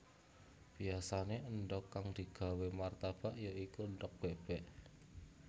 Biyasané endhog kang digawé martabak ya iku endhog bébék